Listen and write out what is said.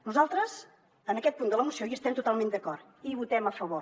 nosaltres en aquest punt de la moció hi estem totalment d’acord i hi votem a favor